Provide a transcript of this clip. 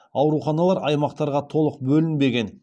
ауруханалар аймақтарға толық бөлінбеген